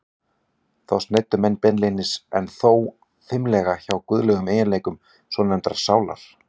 Þá sneiddu menn beinlínis- en þó fimlega- hjá guðlegum eiginleikum svonefndrar sálar.